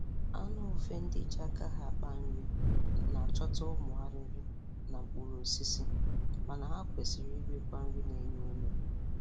Anụ ufe ndị ji aka ha akpa nri na-achọta ụmụ arịrị na mkpụrụosisi, mana ha kwesiri irikwa nri na-enye ume.